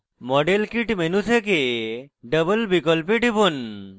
model kit menu থেকে double বিকল্পে টিপুন